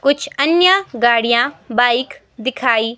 कुछ अन्य गाड़ियां बाइक दिखाई--